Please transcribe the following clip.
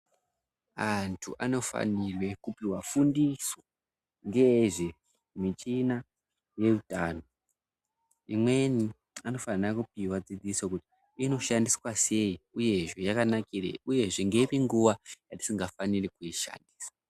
Antu anofanirwe kupihwa fundiso ngezvemichina yeutano, imweni anofanha kupihwa dzidziso kuti inoshandiswa sei, uyezve yakanakirei, uyezve ngeipi nguwa yatisingafaniri kuishandisa.